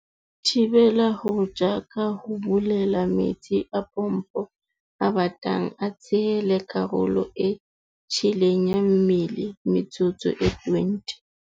"Thibela ho tjha ka ho bulela metsi a pompo a batang a tshele karolo e tjheleng ya mmele metsotso e 20."